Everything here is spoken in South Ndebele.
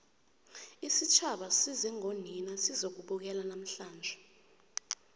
isitjhaba size ngonina sizokubukela namhlanje